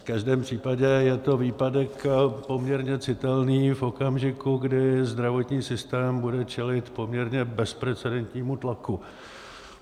V každém případě je to výpadek poměrně citelný v okamžiku, kdy zdravotní systém bude čelit poměrně bezprecedentnímu tlaku.